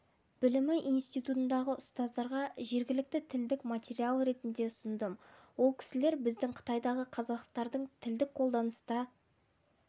білімі институтындағы ұстаздарға жергілікті тілдік материал ретінде ұсындым ол кісілер біздің қытайдағы қазақтардың тілдік қолданыста